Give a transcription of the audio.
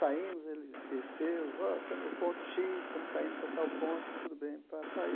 Saímos, ele desceu, ó, estamos no ponto Xis, estamos saindo para tal ponto, tudo bem, pá, pá.